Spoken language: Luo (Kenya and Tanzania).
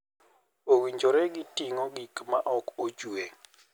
Owinjore gi ting'o gik ma ok ochwe.